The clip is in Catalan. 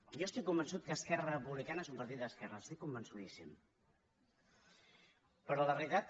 jo estic convençut que esquerra republicana és un partit d’esquerres n’estic convençudíssim però la realitat